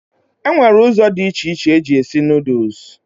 E nwere ụzọ dị iche iche eji esi nuduls.